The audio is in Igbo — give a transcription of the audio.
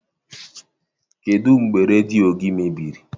Kedụ mgbe redio gị mebiri?